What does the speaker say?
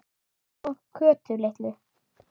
Og Kötu litlu.